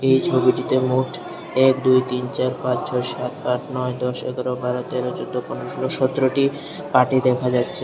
এই ছবিটিতে মোট এক দুই তিন চার পাঁচ ছয় সাত আট নয় দশ এগারো বারো তেরো চোদ্দ পনেরো ষোলো সতেরোটি পাটি দেখা যাচ্ছে।